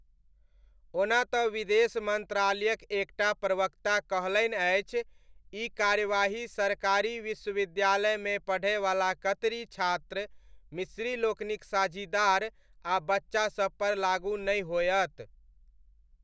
ओना तँ विदेश मन्त्रालयक एक टा प्रवक्ता कहलनि अछि ई कार्यवाही सरकारी विश्वविद्यालयमे पढ़यवला कतरी छात्र, मिस्री लोकनिक साझीदार आ बच्चासबपर लागू नहि होयत।